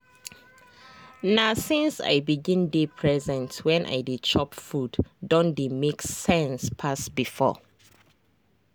na since i begin dey present when i dey chop food don dey make sense pass before.